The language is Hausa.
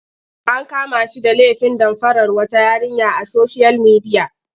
An kama shi da lefin damfarar wata yarinya a soshiyal midiya.